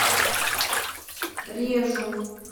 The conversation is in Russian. режу